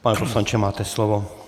Pane poslanče, máte slovo.